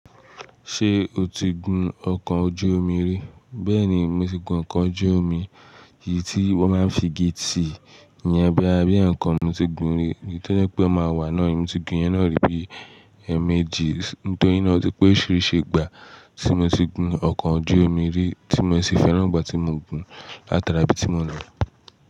Ṣé o ti gun ọkọ̀ ojú omi rí? Bẹ́ẹ̀ni, mo ti gun ọkọ̀ ojú omi, èyí tí wón máa ń fi igi ti, yẹn boya bí ẹ̀ẹ̀kan mo ti gun rí, èyí tó jẹ́pẹ́ a máa wà náà, èmi ti gun yẹn náà rí bí ẹ́ẹ̀mejì, nítorí ná o ti pé orisirisi gbà tí mo ti gun ọkọ̀ ojú omi rí tí mo sì fẹ́ràn ìgbà tí mo ń gun látara ibi tí mò ń lọ.